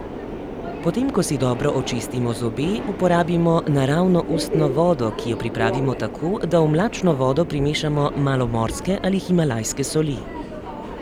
Potem, ko si dobro očistimo zobe, uporabimo naravno ustno vodo, ki jo pripravimo tako, da v mlačno vodo primešamo malo morske ali himalajske soli.